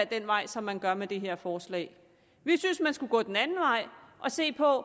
den vej som man gør med det her forslag vi synes man skulle gå den anden vej og se på